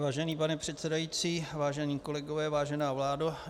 Vážený pane předsedající, vážení kolegové, vážená vládo.